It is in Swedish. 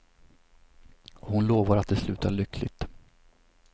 Och hon lovar att det slutar lyckligt.